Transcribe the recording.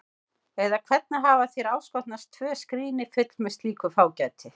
Eða hvernig hafa þér áskotnast tvö skríni full með slíku fágæti?